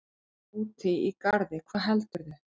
Úti í garði, hvað heldurðu!